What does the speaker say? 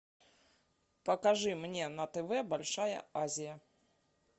покажи мне на тв большая азия